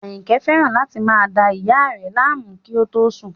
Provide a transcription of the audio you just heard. Àyìnkẹ́ fẹ́ràn láti máa da ìyá a rẹ̀ láàmú kí ó tó sùn